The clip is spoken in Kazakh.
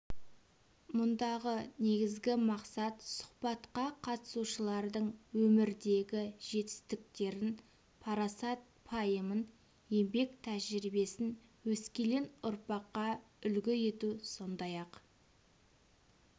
мұндағы негізгі мақсат сұхбатқа қатысушылардың өмірдегі жетістіктерін парасат-пайымын еңбек тәжірибесін өскелең ұрпаққа үлгі ету сондай-ақ